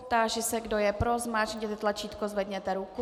Táži se, kdo je pro, zmáčkněte tlačítko, zvedněte ruku.